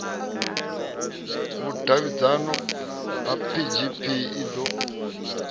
vhudavhidzano ya gpg i ḓo